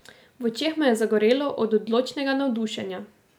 V očeh mu je zagorelo od odločnega navdušenja.